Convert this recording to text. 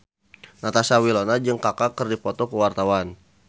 Natasha Wilona jeung Kaka keur dipoto ku wartawan